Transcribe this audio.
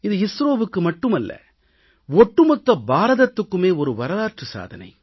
இது இஸ்ரோவுக்கு மட்டுமல்ல ஒட்டுமொத்த பாரதத்துக்குமே மாபெரும் வரலாற்று சாதனை